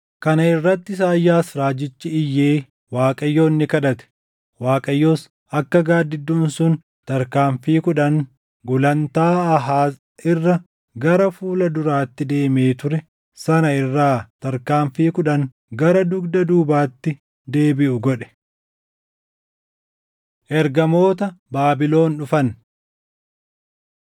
Kana irratti Isaayyaas raajichi iyyee Waaqayyoon ni kadhate; Waaqayyos akka gaaddidduun sun tarkaanfii kudhan gulantaa Aahaaz irra gara fuula duraatti deemee ture sana irraa tarkaanfii kudhan gara dugda duubaatti deebiʼu godhe. Ergamoota Baabilon Dhufan 20:12‑19 kwf – Isa 39:1‑8 20:20‑21 kwf – 2Sn 32:32‑33